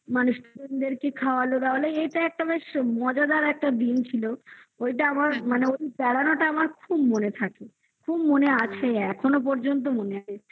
student দেরকে খাওয়ালো দাওয়ালো এইটা একটা বেশ মজাদার একটা দিন ছিল ওইটা আমার মানে ওই বেড়ানোটা আমার খুব মনে থাকে খুব মনে আছে এখনো পর্যন্ত মনে আছে